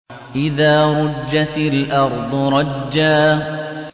إِذَا رُجَّتِ الْأَرْضُ رَجًّا